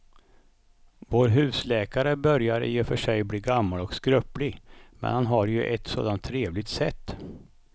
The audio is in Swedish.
Vår husläkare börjar i och för sig bli gammal och skröplig, men han har ju ett sådant trevligt sätt!